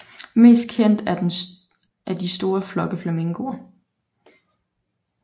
Mest kendt er de store flokke flamingoer